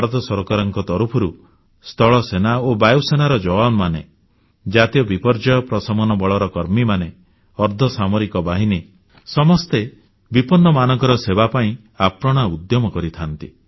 ଭାରତ ସରକାରଙ୍କ ତରଫରୁ ସ୍ଥଳସେନା ଓ ବାୟୁସେନାର ଯବାନମାନେ ଜାତୀୟ ବିପର୍ଯ୍ୟୟ ପ୍ରଶମନ ବଳର କର୍ମୀ ଅର୍ଦ୍ଧସାମରିକ ବାହିନୀ ସମସ୍ତେ ବିପନ୍ନମାନଙ୍କର ସେବା ପାଇଁ ଆପ୍ରାଣ ଉଦ୍ୟମ କରିଥାନ୍ତି